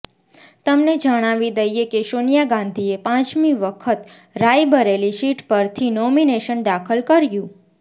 તમને જણાવી દઈએ કે સોનિયા ગાંધીએ પાંચમી વખત રાયબરેલી સીટ પરથી નોમિનેશન દાખલ કર્યું